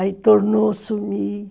Aí tornou, a sumir.